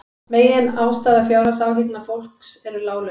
Meginástæða fjárhagsáhyggna fólks eru lág laun